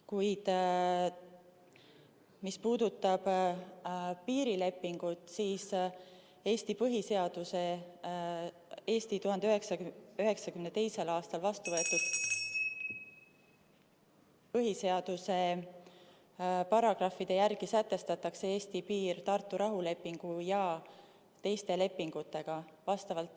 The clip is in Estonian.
Kuid mis puudutab piirilepingut, siis Eesti 1992. aastal vastu võetud põhiseaduse paragrahvide järgi sätestatakse Eesti piir Tartu rahulepingu ja teiste lepingutega.